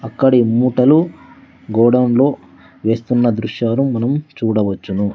అక్కడి మూటలు గోడౌన్ లో వేస్తున్న దృశ్యాలు మనం చూడవచ్చును.